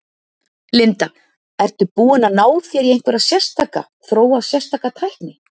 Linda: Ertu búinn að ná þér í einhverja sérstaka, þróa sérstaka tækni?